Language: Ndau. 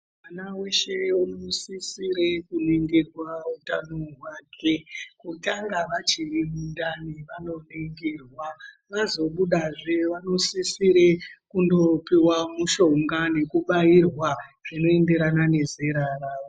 Mwana weshe anosisire kuningirwa utano hwake kutanga vachiri mundani vanoningirwa vazobuda zve vanosisire kupiwa mishonga nekubayirwa zvinoenderana nezera ravo.